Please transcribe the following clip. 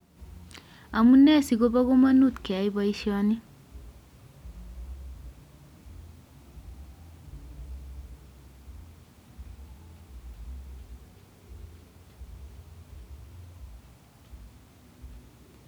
Amunee sikobo kamanut keyai boisyoni